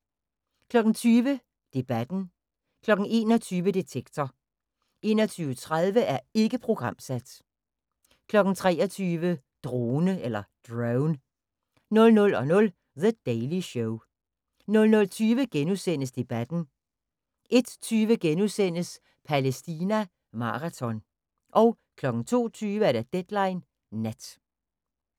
20:00: Debatten 21:00: Detektor 21:30: Ikke programsat 23:00: Drone 00:00: The Daily Show 00:20: Debatten * 01:20: Palæstina maraton * 02:20: Deadline Nat